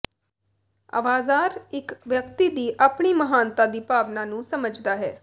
ਅਵਾਜ਼ਾਰ ਇੱਕ ਵਿਅਕਤੀ ਦੀ ਆਪਣੀ ਮਹਾਨਤਾ ਦੀ ਭਾਵਨਾ ਨੂੰ ਸਮਝਦਾ ਹੈ